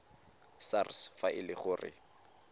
sars fa e le gore